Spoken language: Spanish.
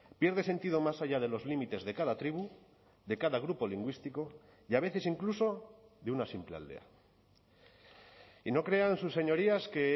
pierde sentido más allá de los límites de cada tribu de cada grupo lingüístico y a veces incluso de una simple aldea y no crean sus señorías que